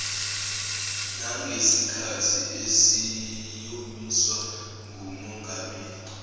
nangesikhathi esiyomiswa ngumongameli